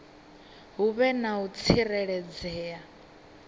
hu vhe na u tsireledzea